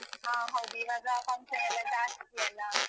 ಹ. ಹೌದು. ಈವಾಗ function ಎಲ್ಲ ಜಾಸ್ತಿ ಅಲ್ಲಾ?